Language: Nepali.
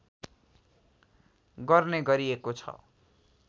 गर्ने गरिएको छ